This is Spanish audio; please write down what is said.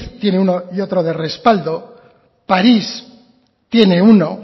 tiene uno y otro de respaldo paris tiene uno